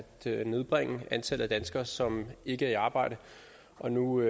nedbringe antallet af danskere som ikke er i arbejde og nu